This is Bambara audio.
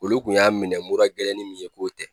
Olu kun y'a minɛ mura gɛlɛnni min ye k'o tɛ.